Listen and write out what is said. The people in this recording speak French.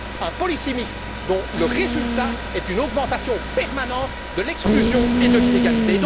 Bref, un policy mix dont le résultat est une augmentation permanente de l'exclusion et de l'inégalité.